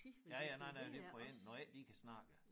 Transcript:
Ja ja nej nej det for en når ikke de kan snakke det